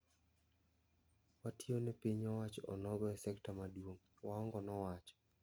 Watio ne piny owacho onogo e sekta maduong'," Waonga nowacho.